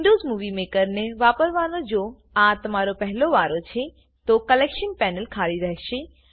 Windows movie મેકરને વાપરવાનો જો આ તમારો પહેલો વારો છે તો કલેક્શન પેનલ ખાલી રહેશે